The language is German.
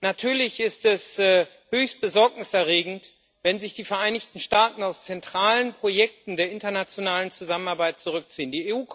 Natürlich ist es höchst besorgniserregend, wenn sich die Vereinigten Staaten aus zentralen Projekten der internationalen Zusammenarbeit zurückziehen.